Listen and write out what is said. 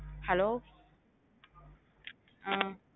Hello ஆஹ்